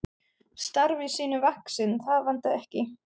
Starfi sínu vaxinn, það vantaði ekki.